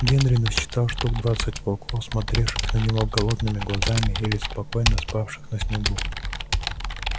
генри насчитал штук двадцать волков смотревших на него голодными глазами или спокойно спавших на снегу